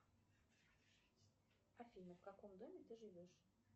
афина в каком доме ты живешь